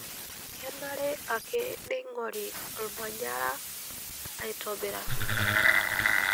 Kenare ake neingorri olmanyara aitobiraki.